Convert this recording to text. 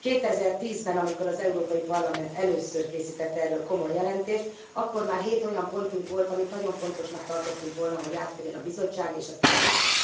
2010 ben, amikor az Európai Parlament először készített erről komoly jelentést, akkor már hét olyan pontunk volt, amit nagyon fontosnak tartottunk volna, hogy átvegyen a Bizottság és a Tanács.